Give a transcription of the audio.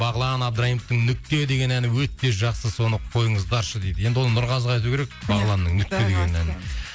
бағлан абдраимовтың нүкте деген әні өте жақсы соны қойыңыздаршы дейді енді оны нұрғазыға айту керек бағланның нүкте деген әнін